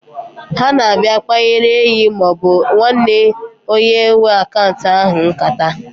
Ha na-abịa kpanyewere enyi maọbụ nwanne onye nwe akaunt ahụ nkata.